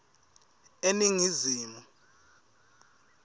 eningizimu